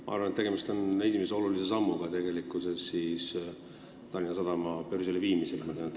Ma arvan, et tegemist on esimese olulise sammuga Tallinna Sadama börsile viimisel.